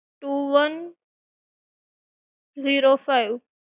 two one zero five